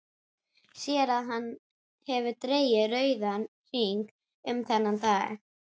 Sér að hann hefur dregið rauðan hring um þennan dag.